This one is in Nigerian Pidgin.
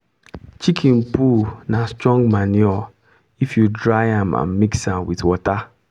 chicken poo na strong manure if you dry am and mix with water.